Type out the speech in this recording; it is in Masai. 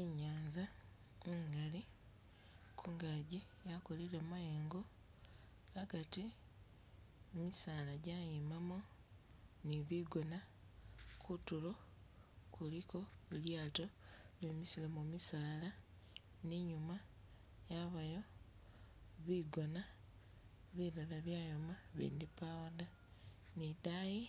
I'nyaanza ingali, kungaji yakolile mayengo agati misaala gyayimamu ni bigoona, kutulo kuliko li lyaato bemisilemu misaala ni inyuma yabayo bigoona bilala byayoma, bindi pawo da ni idayi